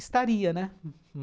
Estaria, né?